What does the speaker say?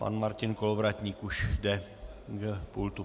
Pan Martin Kolovratník už jde k pultu.